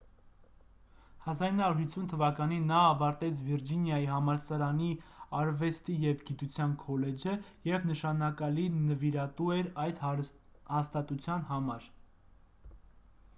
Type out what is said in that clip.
1950 թվականին նա ավարտեց վիրջինիայի համալսարանի արվեստի և գիտության քոլեջը և նշանակալի նվիրատու էր այդ հաստատության համար